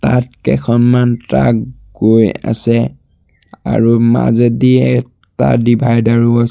ইয়াত কেইখনমান ট্ৰাক গৈ আছে আৰু মাজেদি এটা ডিভাইডাৰো আ --